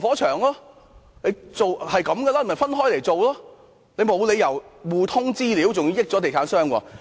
這些合約是需要分開來處理的，沒理由互通資料，還要讓地產商得益。